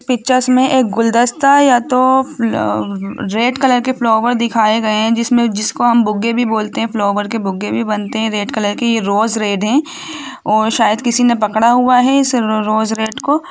Pictures में एक गुलदस्ता या तो रेड कलर के फ्लावर दिखाए गए है जिसमें जिसको हम बुग्गे भी बोलते है फ्लावर के बुग्गे भी बनते है रेड कलर के ये रोज रेड है और शायद किसीने पकड़ा हुआ है इस रो-रोज रेड को।